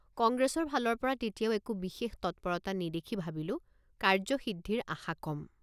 কংগ্ৰেছৰ ফালৰপৰা তেতিয়াও একো বিশেষ তৎপৰতা নেদেখি ভাবিলোঁ কাৰ্য সিদ্ধিৰ আশা কম।